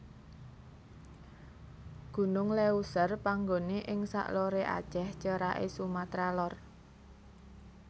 Gunung Léuser panggoné ing sak loré Aceh ceraké Sumatra Lor